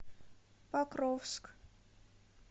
покровск